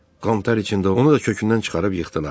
Qantar içində onu da kökündən çıxarıb yıxdılar.